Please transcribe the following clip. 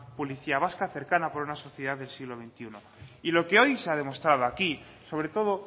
policía vasca cercana para una sociedad del siglo veintiuno y lo que hoy se ha demostrado aquí sobre todo